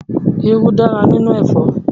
Irú dára nínú ẹ̀fọ́.